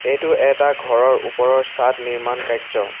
এইটো এটা ঘৰৰ ওপৰৰ চাঁদ নিৰ্মান কাৰ্য্য।